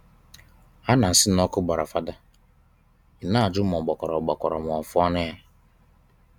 Ha na-asị na ọkụ gbara Father ị na-ajụ ma ọ gbakwara ọ gbakwara ma afụọnụ ya